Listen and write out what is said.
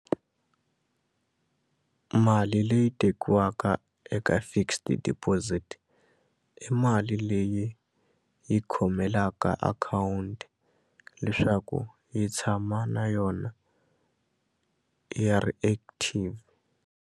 Mali leyi tekiwaka eka fixed deposit i mali leyi yi khomelaka akhawunti leswaku yi tshama na yona yi ri active.